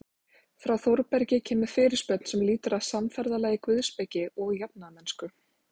Frá Þórbergi kemur fyrirspurn sem lýtur að samferðalagi guðspeki og jafnaðarmennsku.